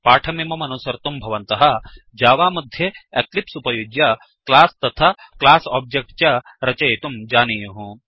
पाठमिममनुसर्तुं भवन्तः जावा मध्ये एक्लिप्स् उपयुज्य क्लास् तथा क्लास् ओब्जेच्ट् च रचयितुं जानीयुः